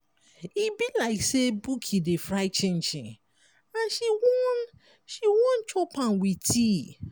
e be like sey buki dey fry chinchin and she wan she wan chop am with tea.